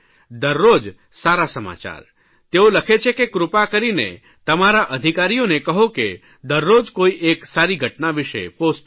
દરરોજ સારા સમાચાર તેઓ લખે છે કે કૃપા કરીની તમારા અધિકારીઓને કહો કે દરરોજ કોઇ એક સારી ઘટના વિષે પોસ્ટ કરે